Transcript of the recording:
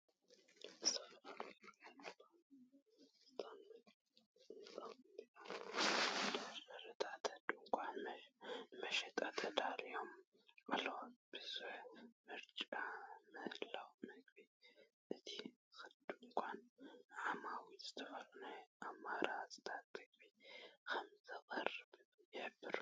ዝተፈላለዩ ፍርያት ፓስታን መግቢ ህጻናትን ኣብ መደርደሪታት ድኳናት ንመሸጣ ተዳልዮም ኣለዉ። ብዝሒ፡ ምርጫን ምህላውን ምግቢ፡ እቲ ድኳን ንዓማዊል ዝተፈላለየ ኣማራጺታት ምግቢ ከም ዘቕርብ ይሕብር።